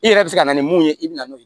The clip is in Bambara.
I yɛrɛ bɛ se ka na ni mun ye i bɛna n'o ye